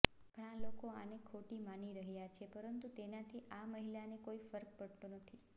ઘણા લોકો આને ખોટી માની રહ્યા છે પરંતુ તેનાથી આ મહિલાને કોઈ ફર્ક પડતો નથી